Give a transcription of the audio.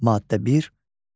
Maddə 1.